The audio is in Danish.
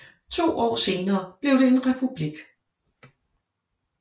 To år senere blev det en republik